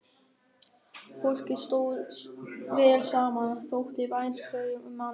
Fólkið stóð vel saman, þótti vænt hverju um annað.